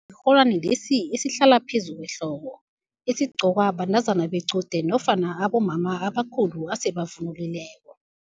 Sirholwani lesi esihlala phezu kwehloko, esigcokwa bantazana bequde nofana abomama abakhulu esele bavunulileko.